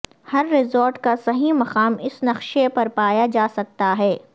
ہر resort کا صحیح مقام اس نقشے پر پایا جا سکتا ہے